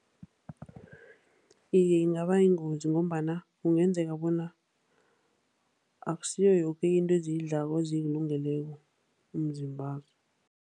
Iye, ingaba yingozi ngombana kungenzeka bona akusiyo yoke into eziyidlako eziyilungeleko umzimbazo.